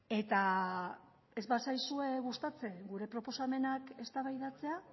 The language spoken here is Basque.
eta ez bazaizue gustatzen gure proposamenak eztabaidatzea